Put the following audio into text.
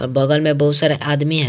बगल में बहुत सारे आदमी हैँ।